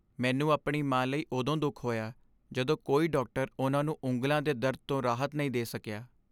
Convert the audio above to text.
ਮੈਨੂੰ ਆਪਣੀ ਮਾਂ ਲਈ ਉਦੋਂ ਦੁਖ ਹੋਇਆ ਜਦੋਂ ਕੋਈ ਡਾਕਟਰ ਉਨ੍ਹਾਂ ਨੂੰ ਉਂਗਲਾਂ ਦੇ ਦਰਦ ਤੋਂ ਰਾਹਤ ਨਹੀਂ ਦੇ ਸਕਿਆ।